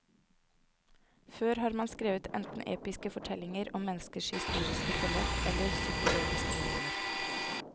Før har man skrevet enten episke fortellinger om menneskers historiske forløp, eller psykologiske romaner.